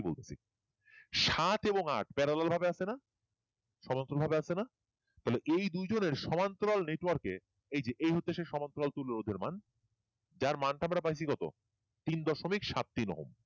সাত এবং আট parallel ভাবে আছে না সমান্তরাল ভাবে আছে না তাহলে এই দুজনের সমান্তরাল network এই হচ্ছে সমান্তরাল তুল্য রোধের মান যার মান টা আমরা পাইছি কত তিন দশমিক সাত তিন ওহম